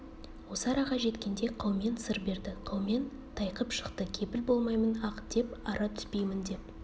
осы араға жеткенде қаумен сыр берді қаумен тайқып шықты кепіл болмаймын ақ деп ара түспеймін деп